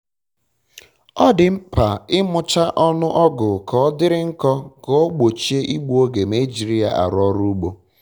ọ dị mkpa imụcha ọnụ ọgụ ka ọdịrị nkọ ka o ogbochie igbu oge ma ejiri ya arụ ọrụ ugbo